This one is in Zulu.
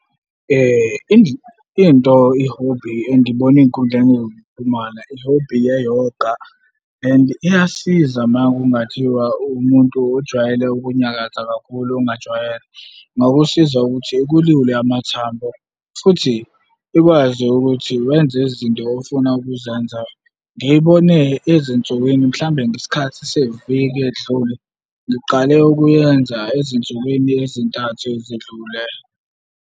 Into i-hobby engiyibona ey'nkundleni zokuxhumana, i-hobby ye-yoga, and iyasiza uma kungathiwa uwumuntu ojwayele ukunyakaza kakhulu ongajwayele. Ingakusiza ukuthi ikulule amathambo futhi ikwazi ukuthi wenze izinto ofuna ukuzenza. Ngiyibone ezinsukwini mhlawumbe ngesikhathi seviki elidlule. Ngiqale ukuyenza ezinsukwini ezintathu ezedlule.